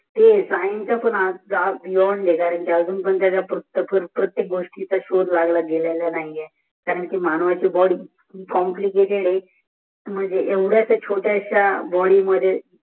ते सायन्स पण अजून पर्यंत पुस्तकावर प्रत्येक गोष्टीचा शोध लागला गेला नाही कारण कि मानवाची बोडी कोम्पली केतेद आहे मंजे येव्द्यास्या शोत्याश्या बोदिमध्ये